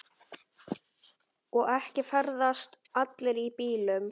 Og ekki ferðast allir í bílum.